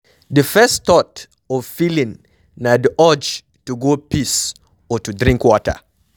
Di first thought or feeling na di urge to go piss or to drink water